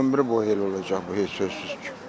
Ömrü boyu elə olacaq bu, heç şübhəsiz ki.